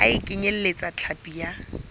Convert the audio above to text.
ha e kenyeletse hlapi ya